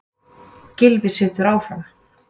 Gylfi situr áfram